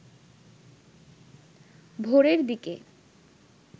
ভোরের দিকে